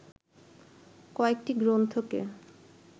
কয়েকটি গ্রন্থকে